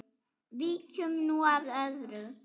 Víkjum nú að öðru.